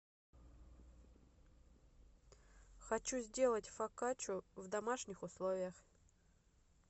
хочу сделать фокаччу в домашних условиях